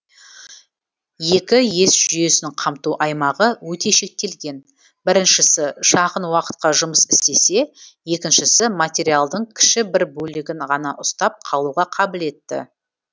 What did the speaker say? екі ес жүйесінің қамту аймағы өте шектелген біріншісі шағын уақытқа жұмыс істесе екіншісі материалдың кіші бір бөлігін ғана ұстап қалуға қабілетті